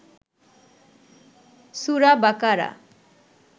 সুরা বাকারা